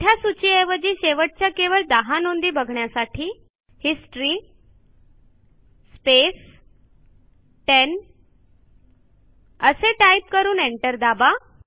मोठ्या सूचीऐवजी शेवटच्या केवळ १० नोंदी बघण्यासाठी हिस्टरी स्पेस 10 असे टाईप करून एंटर दाबा